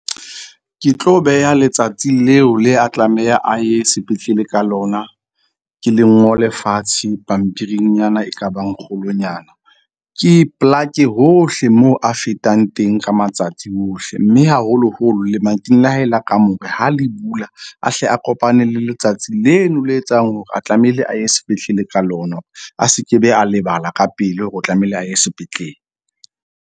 Ke tlo beha letsatsi leo le a tlameha a ye sepetlele ka lona. Ke le ngole fatshe pampiringnyana e kabang kgolonyana. Ke e plake hohle mo a fetang teng ka matsatsi ohle. Mme haholoholo lemating la hae la kamore ha le bula, a hle a kopane le letsatsi leno le etsang hore a tlamehile a ye sepetlele ka lona, a se kebe a lebala ka pele hore o tlamehile a ye sepetlele.